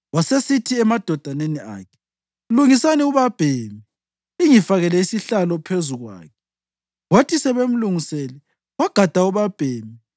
Wasesithi emadodaneni akhe, “Lungisani ubabhemi lingifakele isihlalo phezu kwakhe.” Kwathi sebemlungisele wagada ubabhemi